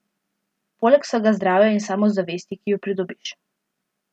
Poleg vsega zdravja in samozavesti, ki ju pridobiš.